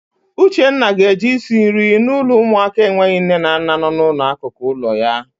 Uchenna ga-eje isi nri na ụlọ ụmụaka enweghị nne na nna nọ n'akụkụ ụlọ ya.